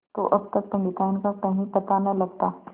तो अब तक पंडिताइन का कहीं पता न लगता